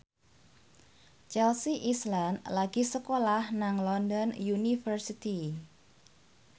Chelsea Islan lagi sekolah nang London University